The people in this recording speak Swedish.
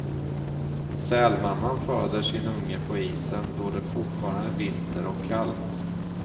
Sälmamman föder sin unge på isen då det fortfarande är vinter och kallt.